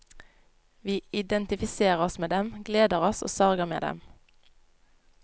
Vi identifiserer oss med dem, gleder oss og sørger med dem.